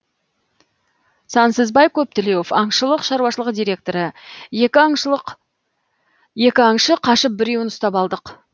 сансызбай көптілеуов аңшылық шаруашылық директоры екі аңшы қашып біреуін ұстап алдық